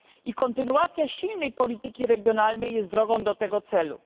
I kontynuacja silnej polityki regionalnej jest drogą do tego celu.